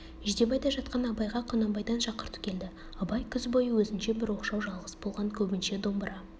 жидебайда жатқан абайға құнанбайдан шақырту келді абай күз бойы өзінше бір оқшау жалғыз болған көбінше домбыра